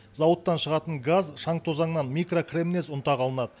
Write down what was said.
зауыттан шығатын газ шаң тозаңнан микрокремнез ұнтағы алынады